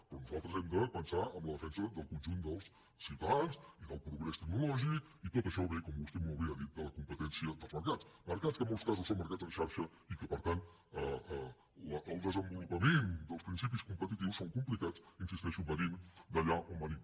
però nosaltres hem de pensar en la defensa del conjunt dels ciutadans i del pro·grés tecnològic i tot això ve com vostè molt bé ha dit de la competència dels mercats mercats que en molts masos són mercats en xarxa i en què per tant el desen·volupament dels principis competitius és complicat hi insisteixo venint d’allà on venim